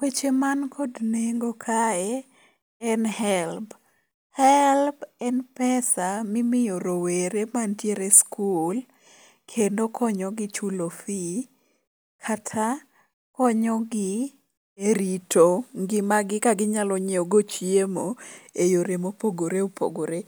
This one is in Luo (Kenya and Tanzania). Weche mankod nengo kae en helb. Helb en pesa mimiyo rowere mantiere e skul kendo konyogi chulo fee kata konyogi e rito ngimagi kaginyalo nyieogo chiemo e yore mopogore opogore.